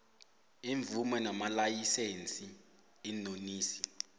iimvumo namalayisense iinonisi